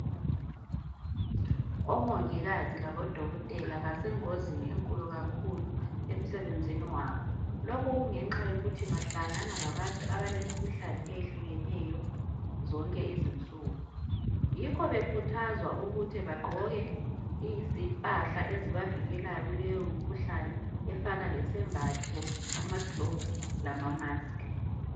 Omongikazi labodokotela basengozini enkulu kakhulu emsebenzini wabo lokhu kungenxa yokuthi bahlanganela labantu abalemikhuhlane eyehlukeneyo zonke izinsuku yikho bekhuthazwa ukuthi bagqoke impahla ezibavikelayo kuleyo mkhuhlane efana lesembatho amagloves lama masks